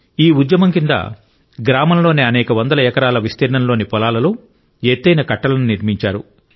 ఈ ఉద్యమం కింద గ్రామంలోని అనేక వందల ఎకరాల విస్తీర్ణంలోని పొలాలలో ఎత్తైన కట్టలను నిర్మించారు